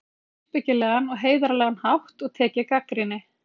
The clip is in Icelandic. Ég get gagnrýnt á uppbyggilegan og heiðarlegan hátt og tekið gagnrýni.